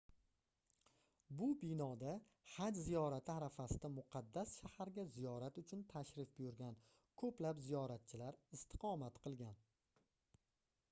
bu binoda haj ziyorati arafasida muqaddas shaharga ziyorat uchun tashrif buyurgan koʻplab ziyoratchilar istiqomat qilgan